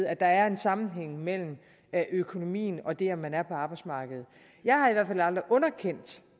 at der er en sammenhæng mellem økonomien og det at man er på arbejdsmarkedet jeg har i hvert fald aldrig underkendt